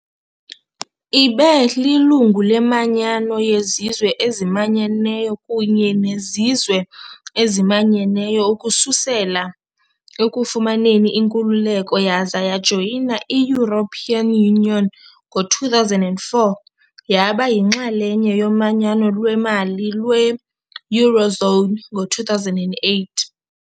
Ibe lilungu leManyano yeZizwe eziManyeneyo kunye neZizwe eziManyeneyo ukusukela ekufumaneni inkululeko, yaza yajoyina i -European Union ngo-2004, yaba yinxalenye yomanyano lwemali lwe-eurozone ngo-2008.